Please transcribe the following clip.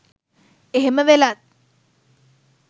එහෙම වෙලත්